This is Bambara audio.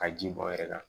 Ka ji bɔ yɛrɛ